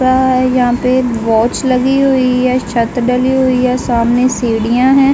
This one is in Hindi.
यहाँ पे एक वॉच लगी हुई है। छत डाली हुई है। सामने सीढ़ियां हैं ।